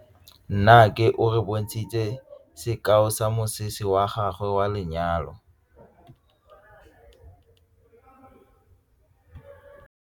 Nnake o re bontshitse sekaô sa mosese wa gagwe wa lenyalo.